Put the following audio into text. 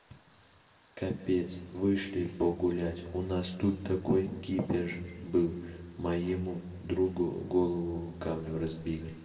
капец вышли погулять у нас тут такой кипиш был моему другу голову камнем разбили